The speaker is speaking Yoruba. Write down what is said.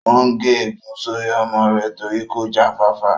Ó n gé ègún sórí ọmọ rẹ̀ torí kò já fáfá